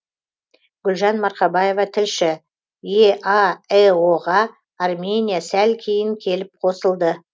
гүлжан марқабаева тілші еаэо ға армения сәл кейін келіп қосылды